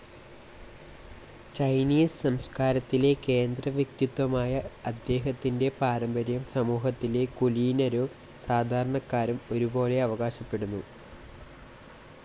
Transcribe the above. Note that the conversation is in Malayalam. ചൈനീസ് സംസ്കാരത്തിലെ കേന്ദ്രവ്യക്തിത്വമായ അദ്ദേഹത്തിന്റെ പാരമ്പര്യം സമൂഹത്തിലെ കുലീനരും സാധാരണക്കാരും ഒരുപോലെ അവകാശപ്പെടുന്നു.